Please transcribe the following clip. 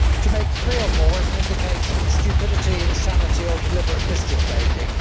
To make three or more is an indication of stupidity, insanity or deliberate mischief making.